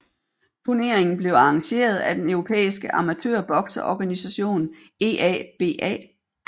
Turneringen blev arrangeret af den europæiske amatørbokseorganisation EABA